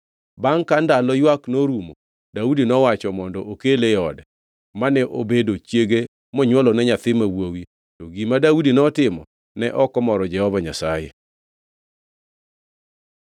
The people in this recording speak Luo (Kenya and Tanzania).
Bangʼ ka ndalo ywak norumo, Daudi nowacho mondo okele e ode, mane obedo chiege monywolone nyathi ma wuowi. To gima Daudi notimo ne ok omoro Jehova Nyasaye.